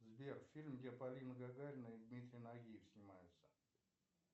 сбер фильм где полина гагарина и дмитрий нагиев снимается